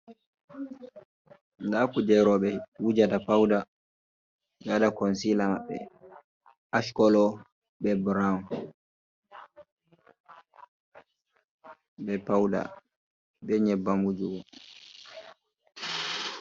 Daa kuje roube wujata pauda ɓe waɗa konsila maɓɓe ash colo be borawon, be pauda, be nyebbam wujugo.